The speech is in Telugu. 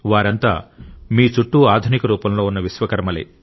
వారంతా మీ చుట్టూ ఆధునిక రూపంలో ఉన్న విశ్వకర్మలే